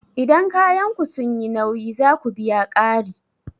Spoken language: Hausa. Idan kayanku sun yi nauyi, za ku biya ƙari